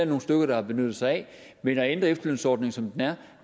nogle stykker der har benyttet sig af men at ændre efterlønsordningen som den er